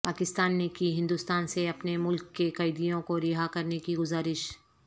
پاکستان نے کی ہندوستان سے اپنے ملک کے قیدیوں کو رہا کرنے کی گزارش